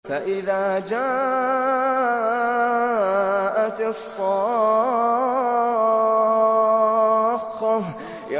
فَإِذَا جَاءَتِ الصَّاخَّةُ